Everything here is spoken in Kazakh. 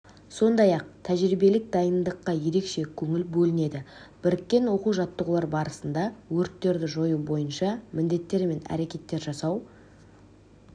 сондай-ақ тәжірибелік дайындыққа ерекше көңіл бөлінеді біріккен оқу-жаттығулар барысында өрттерді жою бойынша міндеттер мен әрекеттер жасау